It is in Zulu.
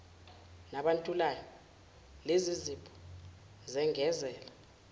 nabantulayo lezizipho zengezela